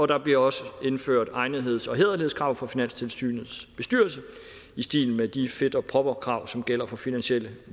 der bliver også indført egnetheds og hæderlighedskrav for finanstilsynets bestyrelse i stil med de fit og proper krav som gælder for finansielle